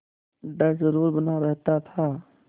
डर जरुर बना रहता था